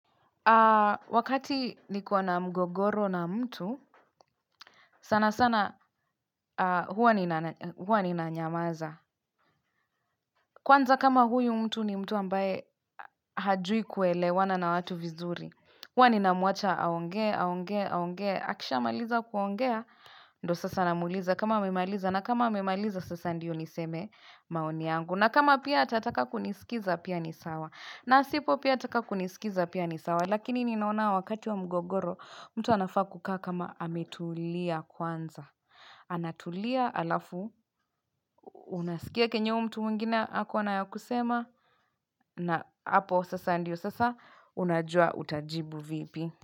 Wakati ni kiwa na mgogoro na mtu, sana sana huwa ni nanyamaza. Kwanza kama huyu mtu ni mtu ambaye hajui kuelewa na na watu vizuri. Huwa ni namuacha aonge, aonge, aonge, akisha maliza kuongea. Ndo sasa namuliza kama amemaliza na kama amemaliza sasa ndiyo niseme maoni yangu. Na kama pia atataka kunisikiliza pia nisawa. Na sipo pia ataka kunisikiliza pia nisawa. Lakini ninaona wakati wa mgogoro mtu anafaa kukaa kama ametulia kwanza Anatulia alafu Unasikia kenyo mtu mwingine hako anayakusema na hapo sasa ndiyo sasa unajua utajibu vipi.